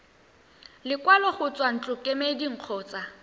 lekwalo go tswa ntlokemeding kgotsa